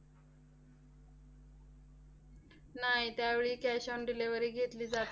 नाही, त्यावेळी cash on delivery घेतली जात